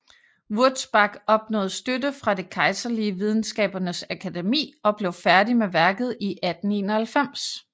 Wurzbach opnåede støtte fra det kejserlige videnskabernes akademi og blev færdig med værket i 1891